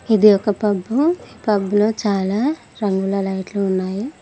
ఇది ఒక పబ్బు . ఈ పబ్బులో చాలా రంగుల లైట్లు ఉన్నాయి.